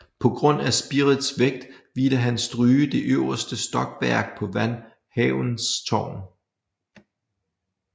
På grund af spirets vægt ville han stryge det øverste stokværk på van Havens tårn